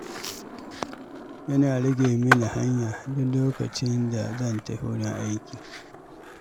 Yana rage mini hanya duk lokacin da zan tafi wurin aiki.